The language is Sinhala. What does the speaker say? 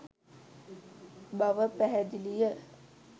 බව පැහැදිලිය